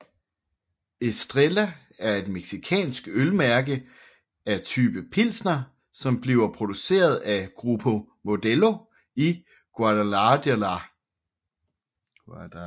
Estrella er et mexicansk ølmærke af type pilsner som bliver produceret af Grupo Modelo i Guadalajara